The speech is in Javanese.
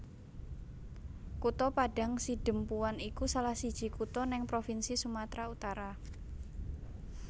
Kutha Padang Sidempuan iku salahsiji kutha neng provinsi Sumatra Utara